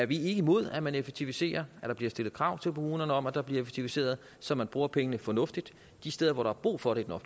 vi ikke imod at man effektiviserer og at der bliver stillet krav til kommunerne om at der bliver effektiviseret så man bruger pengene fornuftigt de steder hvor der er brug for det